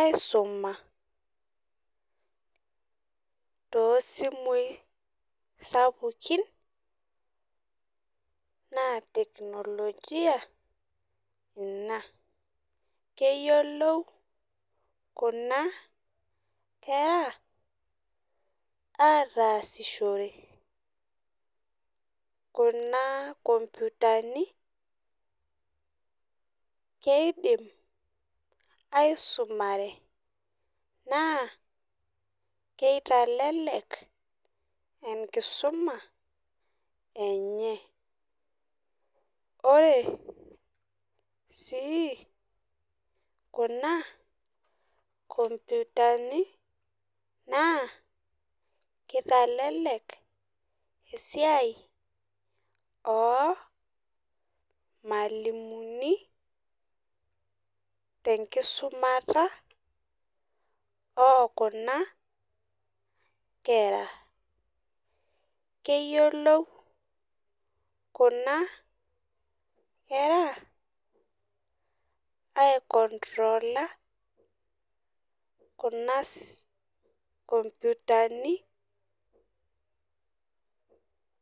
aisuma tosimui sapukin naa teknolojia ina . Keyiolou kuna kera ataasishore kuna komputani , keidim aisumare naa kitelelek enkisuma enye. Ore sii kuna komputani naa kitelelek esiai ormwalimuni tenkisumata okuna kera. Keyiolou kuna kera aikontrola kuna komputani.